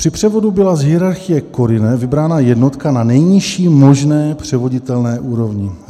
Při převodu byla z hierarchie CORINE vybrána jednotka na nejnižší možné převoditelné úrovni.